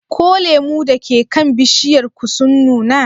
Ko lemu da ke kan bishiyar ku sun nuna?